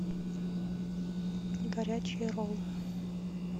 горячие роллы